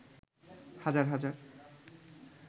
হাজার হাজার